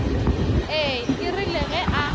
ee e rile ge a